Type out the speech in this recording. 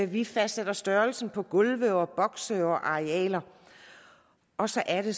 vi fastsætter størrelsen på gulve og bokse og arealer og så er det